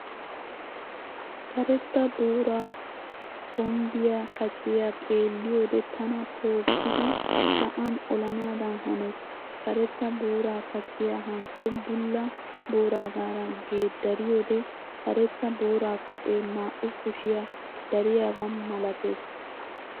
Karetta booraa kombbiyaa kaciyaa xeelliyoode tana tookkidi sa'an olanaadan hanees. Karetta booraa kaciyaa hankko bulla booraagaara geeddariyoode karetta booraa kacee naa"u kushiyaa dariyaabaa malatees.